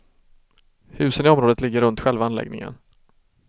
Husen i området ligger runt själva anläggningen.